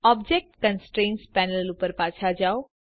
object constraints panel ઉપર પાછા જાઓ